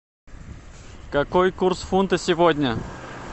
какой курс фунта сегодня